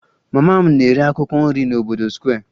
Mama m na-ere akwụkwọ nri n'obodo Square